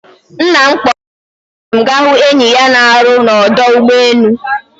Nna m kpọrọ ụmụnne m gaa hụ enyi ya na-arụ na ọdụ ụgbọ elu.